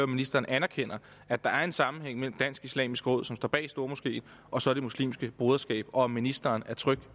ministeren anerkender at der er en sammenhæng mellem dansk islamisk råd som står bag stormoskeen og så det muslimske broderskab og om ministeren er tryg